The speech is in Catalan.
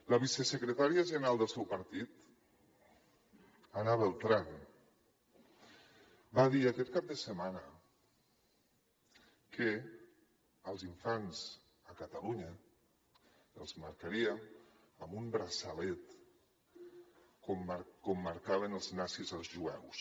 la vicesecretària general del seu partit ana beltrán va dir aquest cap de setmana que els infants a catalunya els marcarien amb un braçalet com marcaven els nazis als jueus